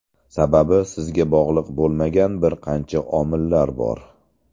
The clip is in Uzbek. Sababi sizga bog‘liq bo‘lmagan bir qancha omillar bor.